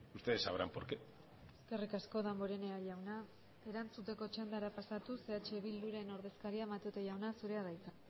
ustedes sabrán por qué eskerrik asko damborenea jauna erantzuteko txandara pasatuz eh bilduren ordezkaria matute jauna zurea da hitza